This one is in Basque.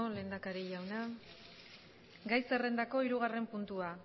lehendakari jauna gai zerrendako hirugarren puntua